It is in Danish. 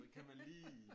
Så kan man lige